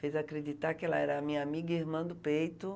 Fez acreditar que ela era a minha amiga e irmã do peito.